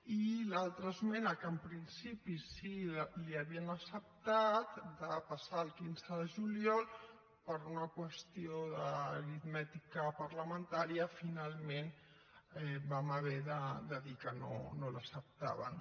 i l’altra esmena que en principi sí que li havíem acceptat de passar al quinze de juliol per una qüestió d’aritmètica parlamentària finalment vam haver de dir que no l’acceptàvem